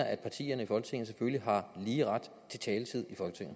at partierne i folketinget selvfølgelig har lige ret til taletid